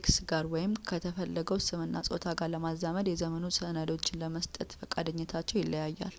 x ጋር ወይም ከተፈለገው ስም እና ጾታ ጋር ለማዛመድ የዘመኑ ሰነዶችን ለመስጠት ፈቃደኝነታቸው ይለያያል፡፡